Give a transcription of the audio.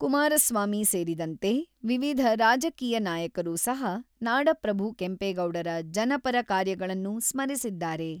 ಕುಮಾರಸ್ವಾಮಿ ಸೇರಿದಂತೆ ವಿವಿಧ ರಾಜಕೀಯ ನಾಯಕರು ಸಹ ನಾಡಪ್ರಭು ಕೆಂಪೇಗೌಡರ ಜನಪರ ಕಾರ್ಯಗಳನ್ನು ಸ್ಮರಿಸಿದ್ದಾರೆ.